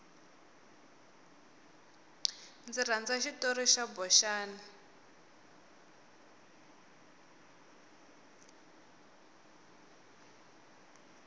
ndzi rhandza xitori xa boxani